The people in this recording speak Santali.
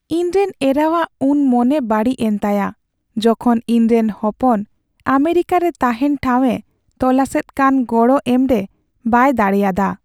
ᱤᱧᱨᱮᱱ ᱮᱨᱟᱣᱟᱜ ᱩᱱ ᱢᱚᱱᱮ ᱵᱟᱹᱲᱤᱡ ᱮᱱ ᱛᱟᱭᱟ ᱡᱚᱠᱷᱚᱱ ᱤᱧᱨᱮᱱ ᱦᱚᱯᱚᱱ ᱟᱢᱮᱨᱤᱠᱟᱨᱮ ᱛᱟᱦᱮᱱ ᱴᱷᱟᱣᱼᱮ ᱛᱚᱞᱟᱥᱮᱫ ᱠᱟᱱ ᱜᱚᱲᱚ ᱮᱢᱨᱮ ᱵᱟᱭ ᱫᱟᱲᱮᱭᱟᱫᱟ ᱾